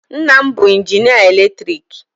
Nna m bụ injinịa eletriki.